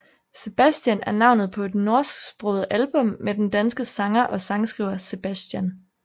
Sebastian er navnet på et norsksproget album med den danske sanger og sangskriver Sebastian